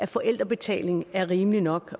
forældrebetaling er rimeligt nok